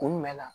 Kun jumɛn na